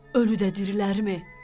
Ölü də dirilərmi?